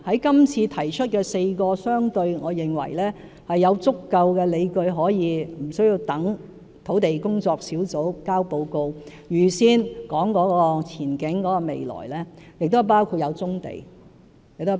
今次提出4個我認為相對有足夠理據可無需等待專責小組提交報告而預先談及前景未來的選項，其實包括棕地在內。